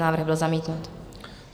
Návrh byl zamítnut.